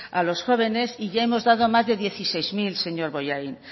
a los jóvenes y ya hemos dado más de dieciséis mil señor bollain